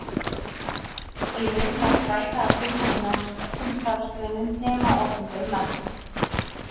Í raun var þræla að finna í nánast öllum starfsgreinum nema opinberum embættum.